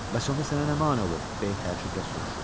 Bəs onda sənə nə mani olur, B təəccüblə soruşur.